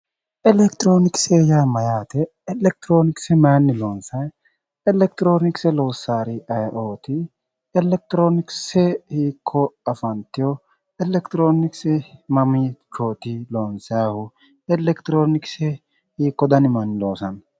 Elekitiroonokise yaa mayyaate? Elekitiroonokise maayiinni loonsayi? Elekitiroonokise loossaari ayeooti? Elekitiroonokise hiikko afantewo? Elekitiroonokise mamiichooti loonsayiihu? Elekitiroonokise hiikko dani manni loosanno?